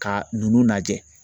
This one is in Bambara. Ka ninnu lajɛ